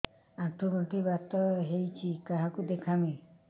ଆଣ୍ଠୁ ଗଣ୍ଠି ବାତ ହେଇଚି କାହାକୁ ଦେଖାମି